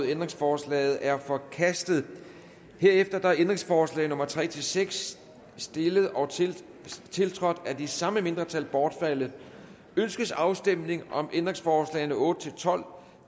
ændringsforslaget er forkastet herefter er ændringsforslag nummer tre seks stillet og tiltrådt af de samme mindretal bortfaldet ønskes afstemning om ændringsforslagene nummer otte tolv